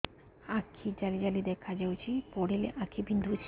ଆଖି ଜାଲି ଜାଲି ଦେଖାଯାଉଛି ପଢିଲେ ଆଖି ବିନ୍ଧୁଛି